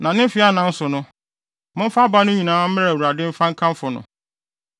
Na ne mfe anan so no, momfa aba no nyinaa mma Awurade mfa nkamfo no.